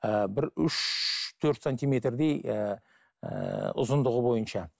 ы бір үш төрт сантимердей ііі ұзындығы бойынша